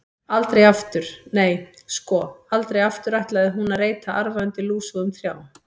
Aldrei aftur, nei, sko, aldrei aftur ætlaði hún að reyta arfa undir lúsugum trjám.